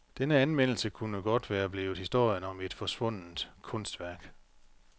Denne anmeldelse kunne være blevet historien om et forsvundnent kunstværk.